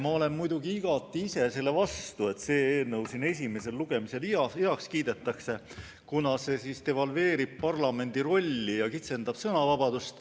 Ma olen muidugi ise igati selle vastu, et see eelnõu siin esimesel lugemisel heaks kiidetaks, kuna see devalveerib parlamendi rolli ja kitsendab sõnavabadust.